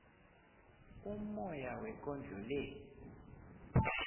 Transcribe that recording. ummoya wekondlo le